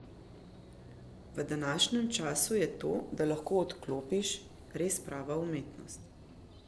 V današnjem času je to, da lahko odklopiš, res prava umetnost.